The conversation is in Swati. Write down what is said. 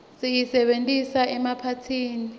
siyisebentisa emaphathini